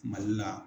Mali la